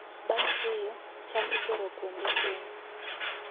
Bang' keyo, cham itero kuonde keno.